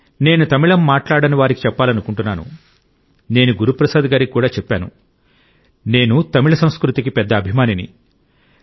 నేను తమిళం మాట్లాడని వారికి చెప్పాలనుకుంటున్నాను నేను గురుప్రసాద్ గారికి చెప్పాను నేను తమిళ సంస్కృతికి పెద్ద అభిమానిని